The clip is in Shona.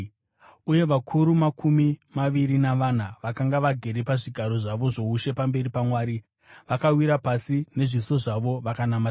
Uye vakuru makumi maviri navana, vakanga vagere pazvigaro zvavo zvoushe pamberi paMwari, vakawira pasi nezviso zvavo vakanamata Mwari,